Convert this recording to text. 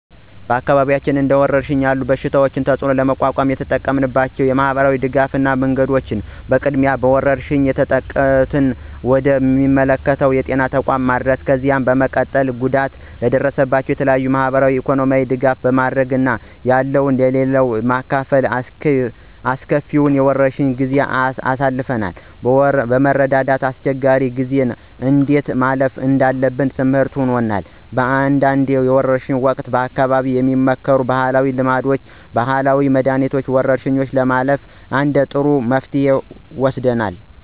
በአካባቢያችን እንደወረርሽኝ ያለ የበሽታ ተፅእኖ ለመቋቋም የተጠቀምንባቸው የማህበረሰብ ድጋፍ መንገዶች በቅድሚያ በወረርሽኙ የተጠቁትን ወደ ሚመለከተው የጤና ተቋም ማድረስ፣ ከዚያ በመቀጠል ጉዳት ለደረሰባቸው የተለያዩ የማህበራዊና ኢኮኖሚያዊ ድጋፍ በማድረግ እና ያለው ለሌለው በማካፈል አስከፊውን የወረርሽ ጊዜ አልፈናል። በመረዳዳት አስቸጋሪ ጊዜን እንዴት ማለፍ እንዳለብን ትምርህት ሆኖናል። በአንዳንድ የወርሽ ወቅት በአካባቢው የሚመከሩ ባህላዊ ልምዶች፣ ባህላዊ መድኃኒት፣ ወረርሽኙን ለማለፍ እንደ ጥሩ መፍትሄ ይወሰዳሉ።